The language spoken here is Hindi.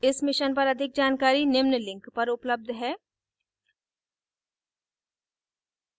इस mission पर अधिक जानकारी निम्न लिंक पर उपलब्ध है